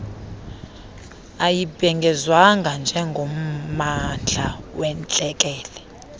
ayibhengezwanga njengommandla wentlekele